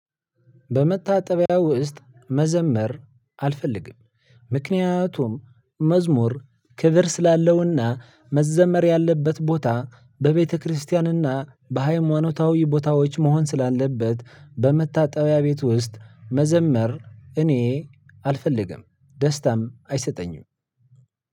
በመታጠቢያ ውስጥ መዘመር አልፈልግም ምክንያት ምክንያቱም መዝሙር ክብር ስላለውና መዘመር ያለበት ቦታ በቤተክርስቲያንና በሃይማኖታዊ ቦታዎች መሆን ስላለበት በመታጠቢያ ቤት ውስጥ መዘመር እኔ አልፈልግም። ደስታም አይሰጠኝም።